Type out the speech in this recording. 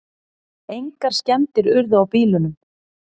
Engar skemmdir urðu á bílunum